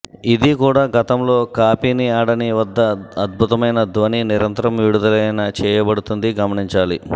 ఇది కూడా గతంలో కాపీని ఆడని వద్ద అద్భుతమైన ధ్వని నిరంతరం విడుదలైన చేయబడుతుంది గమనించాలి